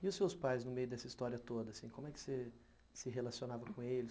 E os seus pais, no meio dessa história toda, como é que você se relacionava com eles?